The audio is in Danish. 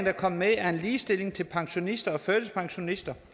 er kommet med er en ligestilling til pensionister og førtidspensionister